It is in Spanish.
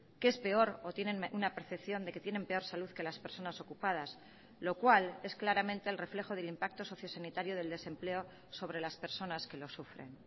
que es peor o tienen una percepción de que tienen peor salud que las personas ocupadas lo cual es claramente el reflejo del impacto socio sanitario del desempleo sobre las personas que lo sufren